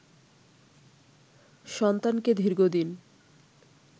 সন্তানকে দীর্ঘদিন